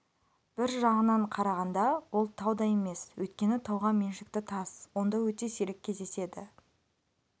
бір жағынан қарағанда ол тау да емес өйткені тауға меншікті тас онда өте сирек кездеседі